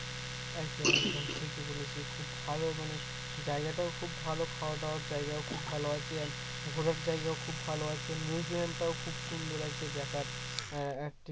একদম একদম ঠিকই বলেছিস খুব ভালো মানে জায়গাটা খুব ভালো খাওয়া-দাওয়ার জায়গায় খুব ভালো আছে and ঘোরার জায়গা খুব ভালো আছে museum টাও খুব সুন্দর আছে দেখার আহ